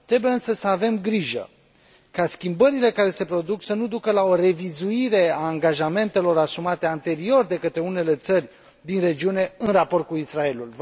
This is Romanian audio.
Trebuie, însă, să avem grijă ca schimbările care se produc să nu ducă la o revizuire a angajamentelor asumate anterior de către unele țări din regiune în raport cu Israelul.